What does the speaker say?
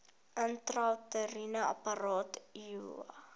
intrauteriene apparaat iua